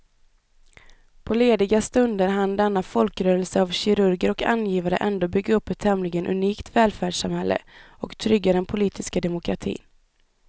På lediga stunder hann denna folkrörelse av kirurger och angivare ändå bygga upp ett tämligen unikt välfärdssamhälle och trygga den politiska demokratin.